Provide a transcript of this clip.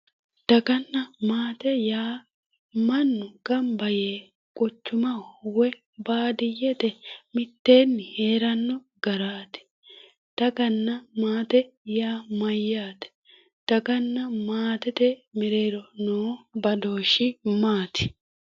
Daganna maate yaa mannu gamba yee quchumaho woyi baadiyyete mitteenni heeranno garaati. Daganna maate yaa mayyaate? Daganna maatete mereero noo badooshshi maati?